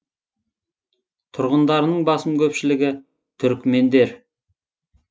тұрғындарының басым көпшілігі түрікмендер